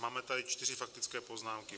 Máme tady čtyři faktické poznámky.